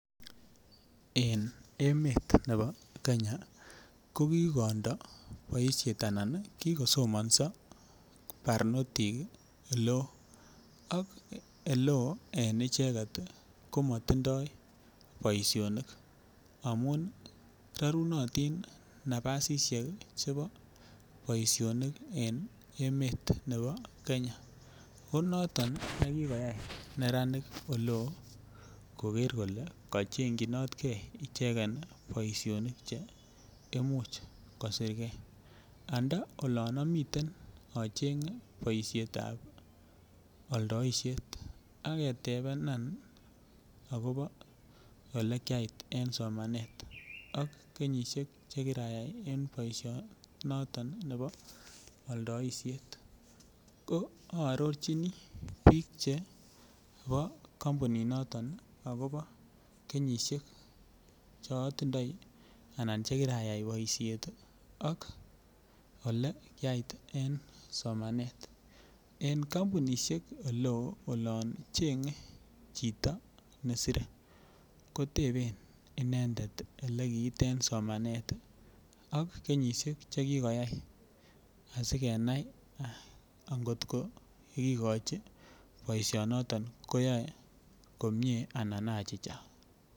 En emet nebo kenya ko kikondo boishet anan kikosomoso barnotik iiele oo ak ele oo en icheget ii komo tindoi boisionik amun rorunotin nabasishek chebo boisionik en emet nebo kenya ko noton ii me kikoyay neranik ole oo kole kochengyinot gee boisionik che imuch kosirgee. Nto olon omii ochenge boishetab oldoishet ak ketebanan akobo olekyait en somanet ak kenyisiek che kirayay en boisionoton nebo oldoishet ko ororjini bik chebo kompinit noton akobo kenyisiek chotindoi anan che kirayay boishet ii ak ole kiyait ii en somanet en kompunishek ole oo olon chenge chito nesire koteben inendet ole kit en somanet ak kenyisiek che kigoyay asi kenai angokot ko kigochi boisionoton koyoe komie ana achicha